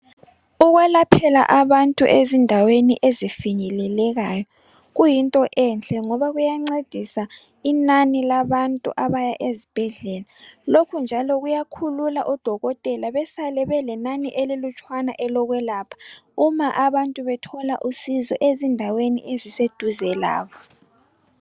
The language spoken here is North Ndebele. Ukwelaphela abantu ezindaweni ezifinyelelekayo kuyinto enhle ngoba kuyancedisa inani labantu abaya ezibhedlela, lokhu njalo kuyakhulula oDokotela besale belenani elilutshwana elokwelapha uma abantu bethola usizo ezindaweni eziseduze labo.